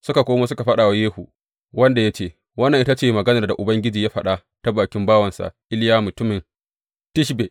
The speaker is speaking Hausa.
Suka komo suka faɗa wa Yehu, wanda ya ce, Wannan ita ce maganar da Ubangiji ya faɗa ta bakin bawansa Iliya mutumin Tishbe.